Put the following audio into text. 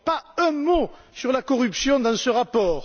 Pas un mot sur la corruption dans ce rapport!